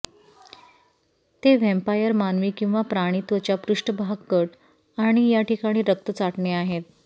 ते व्हॅम्पायर मानवी किंवा प्राणी त्वचा पृष्ठभाग कट आणि या ठिकाणी रक्त चाटणे आहेत